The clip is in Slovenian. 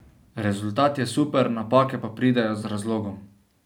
Rezultat je super, napake pa pridejo z razlogom.